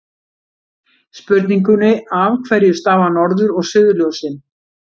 Spurningunni Af hverju stafa norður- og suðurljósin?